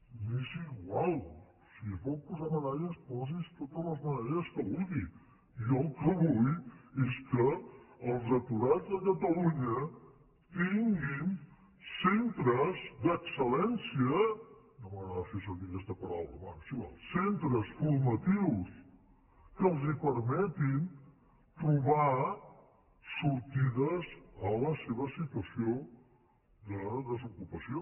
m’és igual si es vol posar medalles posi’s totes les medalles que vulgui jo el que vull és que els aturats de catalunya tinguin centres d’excel·lència no m’agrada fer servir aquesta paraula bé és igual centres formatius que els permetin trobar sortides a la seva situació de desocupació